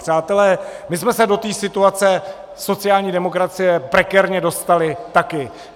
Přátelé, my jsme se do té situace sociální demokracie prekérně dostali taky.